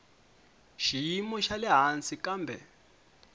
xiyimo xa le hansi kambe